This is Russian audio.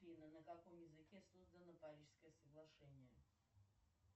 афина на каком языке создано парижское соглашение